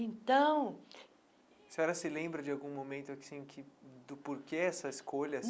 Então... A senhora se lembra de algum momento assim do porquê essa escolha?